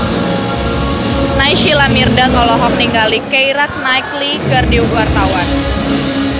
Naysila Mirdad olohok ningali Keira Knightley keur diwawancara